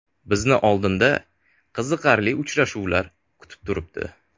Bizni oldinda qiziqarli uchrashuvlar kutib turibdi.